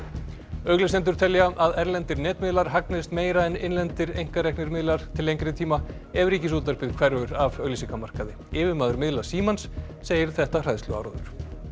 auglýsendur telja að erlendir netmiðlar hagnist meira en innlendir einkareknir miðlar til lengri tíma ef Ríkisútvarpið hverfur af auglýsingamarkaði yfirmaður miðla Símans segir þetta hræðsluáróður